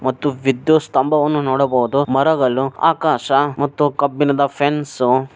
ಮತ್ತು ವಿದ್ಯುತ್ ಸ್ತಂಭವನ್ನು ನೋಡಬಹುದು ಮರಗಳು ಆಕಾಶ ಮತ್ತು ಕಬ್ಬಿಣದ ಫೆನ್ಸು